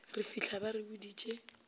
re fitlha ba re boditše